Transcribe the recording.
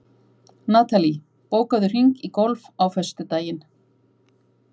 Natalí, bókaðu hring í golf á föstudaginn.